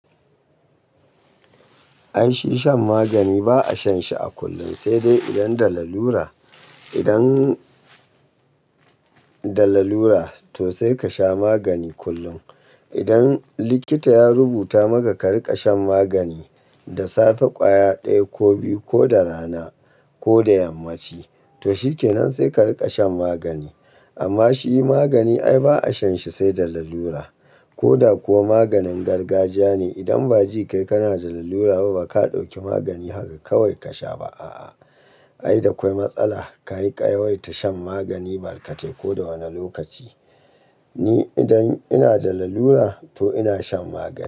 Ai shi shan magani ba a shan shi a kullun, sai dai idan da lalura. Idan da lalura to sai ka sha magani kullum. Idan likita ya rubuta maka ka riƙa shan magani da safe, ƙwaya ɗaya ko biyu ko da rana ko da yammaci, to shi kenan sai ka riƙa shan magani. Amma shi magani ai ba a shan shi sai da lalura. Koda ko maganin gargajiya ne, idan ba ji kai kana da lalura ba, ba ka ɗauki magani haka kawai ka sha ba a a. Ai da kawai matsala ka yawaita shan magani barkatai koda wani lokaci. Ni idan ina da lalura to ina shan magani.